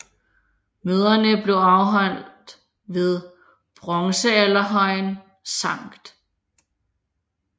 Møderne blev holdt ved bronzealderhøjen Skt